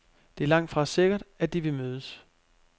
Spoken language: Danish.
Det er langtfra sikkert, at de vil mødes.